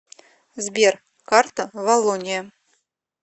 сбер карта валлония